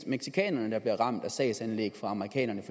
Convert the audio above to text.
mexicanerne der bliver ramt af sagsanlæg fra amerikanernes